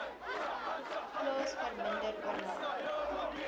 plaas verminder oornag